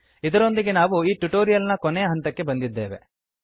ಇದರೊಂದಿಗೆ ನಾವು ಈ ಟ್ಯುಟೋರಿಯಲ್ ನ ಕೊನೆಯ ಹಂತಕ್ಕೆ ಬಂದಿದ್ದೇವೆ